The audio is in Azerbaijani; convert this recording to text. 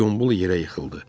Gombol yerə yıxıldı.